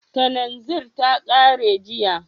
Kananzir ta kare jiya